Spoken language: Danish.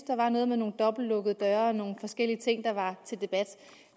der var noget med nogle dobbeltlukkede døre og nogle forskellige ting der var til debat